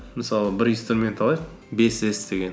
мысалы бір инструмент алайық бес с деген